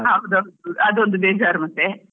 ಹೌದ್ ಹೌದ್, ಅದೊಂದ್ ಬೇಜಾರ್ ಮತ್ತೆ.